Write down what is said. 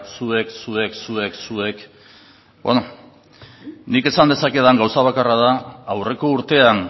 zuek zuek zuek zuek nik esan dezakedan gauza bakarra da aurreko urtean